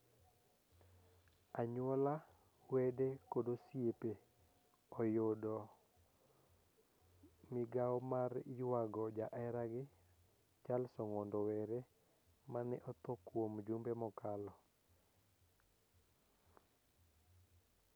Anyuola, wede kod osiepo oyudo migao mar ywago jaeragi Charles Ong'ondo Were mane otho kuom jumbe mokalo.